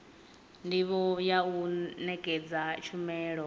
ndivho ya u nekedza tshumelo